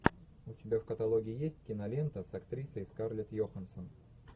у тебя в каталоге есть кинолента с актрисой скарлетт йоханссон